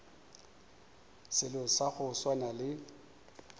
selo sa go swana le